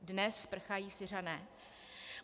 Dnes prchají Syřané.